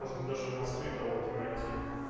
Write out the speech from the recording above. можно даже в москве кого-то найти